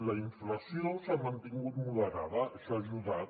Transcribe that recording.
la inflació s’ha mantingut moderada això hi ha ajudat